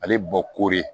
Ale bɔ koori